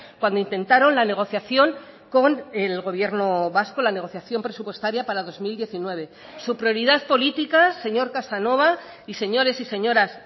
cuando intentaron la negociación con el gobierno vasco la negociación presupuestaria para dos mil diecinueve su prioridad política señor casanova y señores y señoras